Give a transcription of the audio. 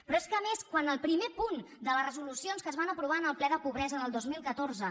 però és que a més quan el primer punt de les resolucions que es van aprovar en el ple de pobresa del dos mil catorze